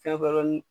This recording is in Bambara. Fɛn wɛrɛ ni